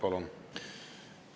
Palun!